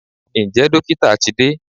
Ǹjẹ́ dókítà ti de?